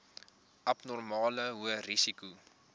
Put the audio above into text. abnormale hoë risiko